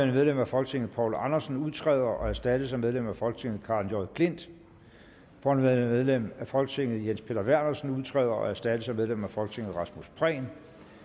medlem af folketinget poul andersen udtræder og erstattes af medlem af folketinget karen j klint forhenværende medlem af folketinget jens peter vernersen udtræder og erstattes af medlem af folketinget rasmus prehn